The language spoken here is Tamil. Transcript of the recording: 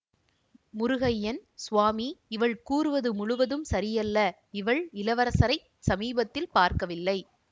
முருகய்யன் சுவாமி இவள் கூறுவது முழுவதும் சரியல்ல இவள் இளவரசரைச் சமீபத்தில் பார்க்கவில்லை